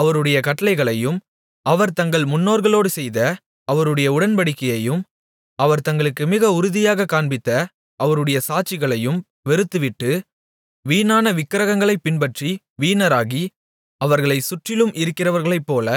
அவருடைய கட்டளைகளையும் அவர் தங்கள் முன்னோர்களோடுசெய்த அவருடைய உடன்படிக்கையையும் அவர் தங்களுக்கு மிக உறுதியாகக் காண்பித்த அவருடைய சாட்சிகளையும் வெறுத்துவிட்டு வீணான விக்கிரகங்களைப் பின்பற்றி வீணராகி அவர்களைச் சுற்றிலும் இருக்கிறவர்களைப்போல